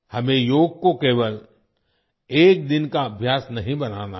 हमें योग को केवल एक दिन का अभ्यास नहीं बनाना है